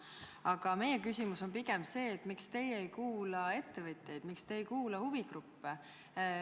Aga meie küsimus on pigem see, miks te ei kuula ettevõtjaid, miks te ei kuula huvigruppe.